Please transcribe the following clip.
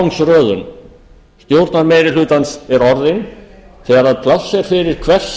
forgangsröðun stjórnarmeirihlutans er orðin þegar pláss er fyrir hvers